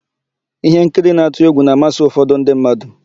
Íhénkiri na-atụ égwù na-amasị ụfọdụ ndị mmadụ.